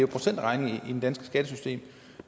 procentregning i det danske skattesystem